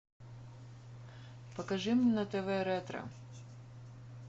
покажи мне на тв ретро